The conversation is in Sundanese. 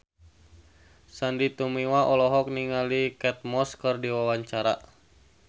Sandy Tumiwa olohok ningali Kate Moss keur diwawancara